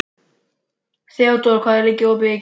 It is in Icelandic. Þeódóra, hvað er opið lengi í IKEA?